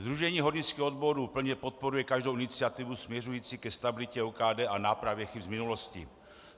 Sdružení hornických odborů plně podporuje každou iniciativu směřující ke stabilitě OKD a nápravě chyb z minulosti.